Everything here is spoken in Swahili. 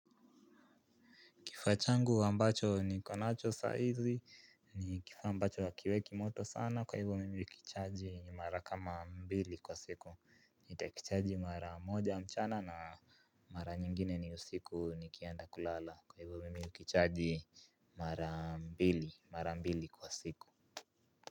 Kifaa changu ambacho niko nacho saizi, ni kifaa ambacho hakiweki moto sana, kwa hivyo mimi kuichaji mara kama mbili kwa siku. Nitakichaji mara moja mchana na mara nyingine ni usiku nikienda kulala, kwa hivyo mimi hukichaji mara mbili, mara mbili kwa siku.